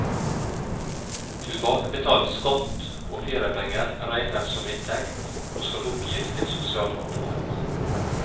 Tilbakebetalt skatt og feriepenger regnes som inntekt, og skal oppgis til sosialkontoret.